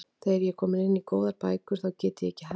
Þegar ég er komin inn í góðar bækur þá get ég ekki hætt.